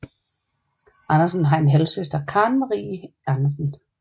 Andersen har en halv søster Karen Marie Andersen